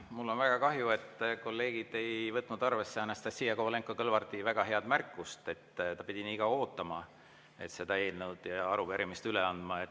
Mul on väga kahju, et kolleegid ei võtnud arvesse Anastassia Kovalenko‑Kõlvarti väga head märkust, et ta pidi nii kaua ootama, et seda arupärimist üle anda.